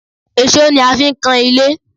Èṣó ni a fi ń kan ilé